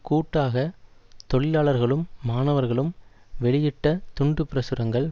கூட்டாக தொழிலாளர்களும் மாணவர்களும் வெளியிட்ட துண்டு பிரசுரங்கள்